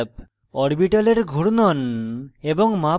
orbitals ঘূর্ণন এবং মাপ পরিবর্তন